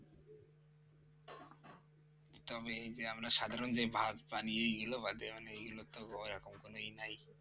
তবে এই যে আমরা সাধারণ বিভাগ পানি এগুলো বটে এইগুলো তো ওরকম কোনও ই নাই